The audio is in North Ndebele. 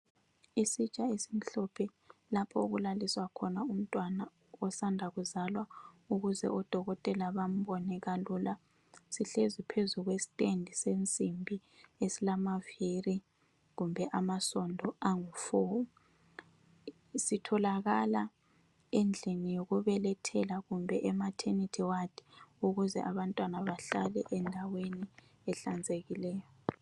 Isitsha esimhlophe ,lapho okulalwisa khona umntwana osanda kuzalwa ukuze odokotela bambone kalula .Sihlezi phezu kwestand sensimbi esilama viri kumbe amasondo angu 4 ,sitholakala endlini yokubelethela kumbe ematernity ward ukuze abantwana bahlale endaweni ehlanzekileyo .